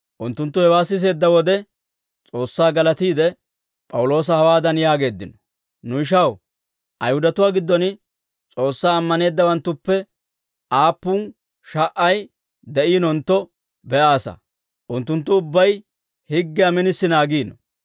Unttunttu hewaa siseedda wode S'oossaa galatiide, P'awuloosa hawaadan yaageeddino; «Nu ishaw, Ayihudatuwaa giddon S'oossaa ammaneeddawanttuppe aappun sha"ay de'iinontto be'aasa; unttunttu ubbay higgiyaa minisi naagiino.